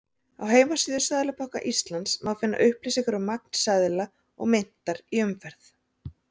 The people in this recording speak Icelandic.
Á heimasíðu Seðlabanka Íslands má finna upplýsingar um magn seðla og myntar í umferð.